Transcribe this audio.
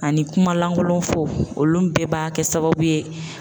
Ani kuma lankolon fɔ olu bɛɛ b'a kɛ sababu ye